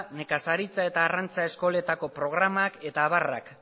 nekazaritza eta arrantza eskoletako programak eta abarrak